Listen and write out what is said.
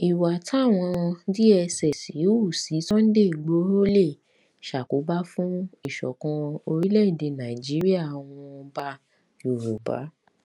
ìwà táwọn táwọn dss hù sí sunday igboro lè ṣàkóbá fún ìṣọkan orílẹèdè nàìjíríààwọn ọba yorùbá